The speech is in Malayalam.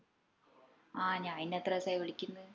ആ ഞാനിഞ്ഞ എത്രേസായി വിളിക്കിന്ന്